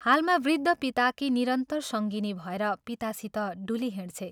हालमा वृद्ध पिताकी निरन्तर सङ्गिनी भएर पितासित डुलिहिंड्छे।